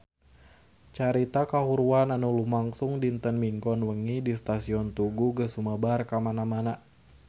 Carita kahuruan anu lumangsung dinten Minggon wengi di Stasiun Tugu geus sumebar kamana-mana